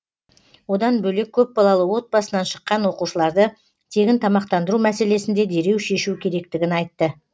одан бөлек көпбалалы отбасынан шыққан оқушыларды тегін тамақтандыру мәселесін де дереу шешу керектігін айтты